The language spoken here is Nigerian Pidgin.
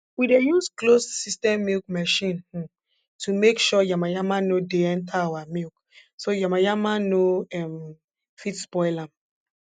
we dey use closed system milk machine um to make sure yamayama nor dey enta our milk so yamayama nor um fit spoil am